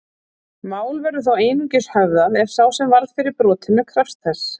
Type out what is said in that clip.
mál verður þó einungis höfðað ef sá sem varð fyrir brotinu krefst þess